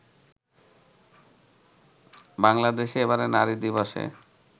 বাংলাদেশে এবারের নারী দিবসে